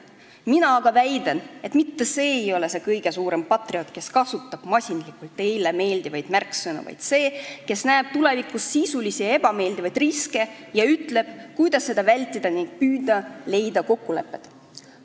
Mina aga väidan, et mitte see ei ole kõige suurem patrioot, kes kasutab masinlikult teile meeldivaid märksõnu, vaid see, kes näeb tulevikus sisulisi ja ebameeldivaid riske ja ütleb, kuidas neid vältida ning püüda leida kokkulepet.